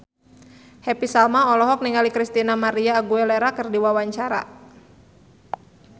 Happy Salma olohok ningali Christina María Aguilera keur diwawancara